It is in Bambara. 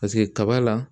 Paseke kaba la